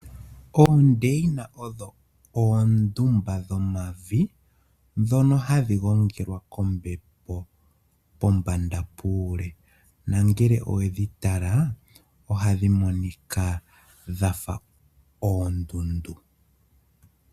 Oondeyina odho oondumba dhomavi ndhono hadhi gongelwa kombepo pombanda puule. Nongele owedhi tala ohadhi monika dha fa oondundu.